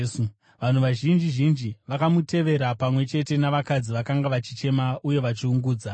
Vanhu vazhinji zhinji vakamutevera, pamwe chete navakadzi vakanga vachichema uye vachiungudza.